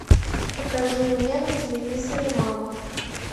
покажи мне на телевизоре мама